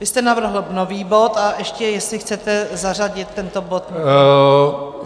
Vy jste navrhl nový bod a ještě jestli chcete zařadit tento bod.